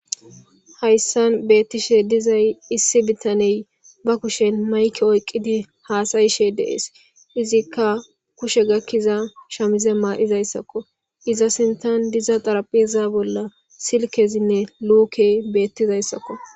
Haysan bettishe dizzy issi bettanney ba kushen mayke oykidi hasayishe de'es izzikka kushe gakiza shamize mayizaysakko pizza sinthan dizza xarapheza bolla diza silkezinne lukey bettizaysakko